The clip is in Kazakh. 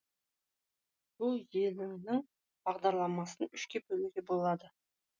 бүл елеңнің бағдарламасын үшке бөлуге болады